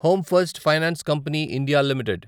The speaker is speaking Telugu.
home first finance company India limited